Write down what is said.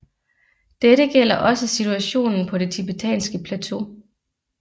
Dette gælder også situationen på det tibetanske plateau